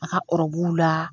A ka la.